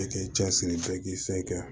Bɛɛ k'i cɛsiri kɛ k'i se kɛ